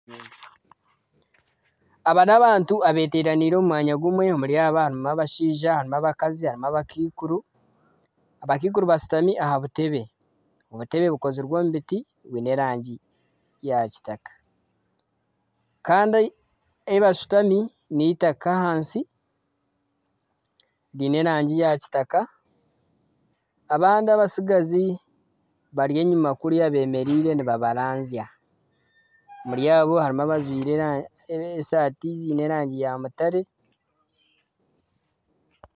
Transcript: Aba n'abantu abeteraniire omu mwanya gumwe omuri aba harimu abashaija , harimu abakazi harimu abakaikuru . Abakaikuru bashitami aha butebe obukozirwe omu biti bwiine erangi ya kitaka kandi ahi bashutami n'eitaka ahansi ryiine erangi ya kitaka . Abandi abatsigazi bemereire bari enyima kuriya nibabaranzya. Omuri abo harimu abajwire esaati ziine erangi ya mutare .